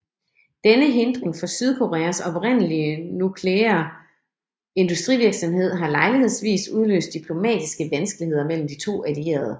Denne hindring for Sydkoreas oprindelige nukleare industrivirksomhed har lejlighedsvis udløst diplomatiske vanskeligheder mellem de to allierede